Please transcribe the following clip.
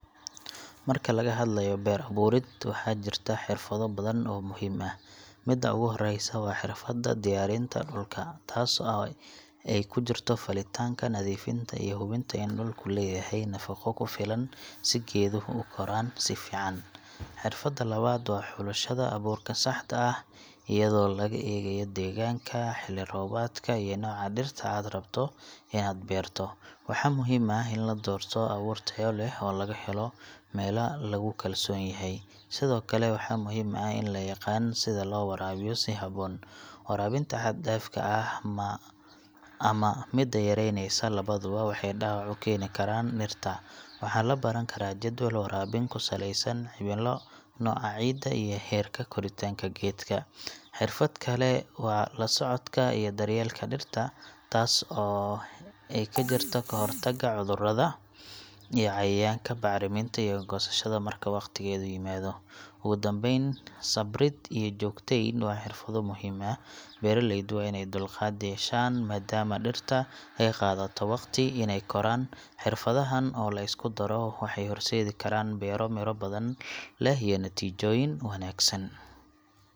Marka laga hadlayo beero abuurid, waxaa jira xirfado badan oo muhiim ah. Midda ugu horreysa waa xirfadda diyaarinta dhulka taasoo ay ku jirto falitaanka, nadiifinta, iyo hubinta in dhulku leeyahay nafaqo ku filan si geeduhu u koraan si fiican. Xirfadda labaad waa xulashada abuurka saxda ah, iyadoo laga eegayo deegaanka, xilli roobaadka, iyo nooca dhirta aad rabto inaad beerto. Waxaa muhiim ah in la doorto abuur tayo leh oo laga helo meelo lagu kalsoon yahay. Sidoo kale, waxaa muhiim ah in la yaqaan sida loo waraabiyo si habboon. Waraabinta xad-dhaafka ah ama midda yaraanaysa labaduba waxay dhaawac u keeni karaan dhirta. Waxaa la baran karaa jadwal waraabin ku saleysan cimilo, nooca ciidda, iyo heerka koritaanka geedka. Xirfad kale waa la socodka iyo daryeelka dhirta, taasoo ay ku jirto ka hortagga cudurrada iyo cayayaanka, bacriminta, iyo goosashada marka waqtigeedu yimaado. Ugu dambayn, sabrid iyo joogteyn waa xirfado muhiim ah beeralaydu waa inay dulqaad yeeshaan maadaama dhirta ay qaadato waqti inay koraan. Xirfadahan oo la isku daro waxay horseedi karaan beero miro badan leh iyo natiijooyin wanaagsan.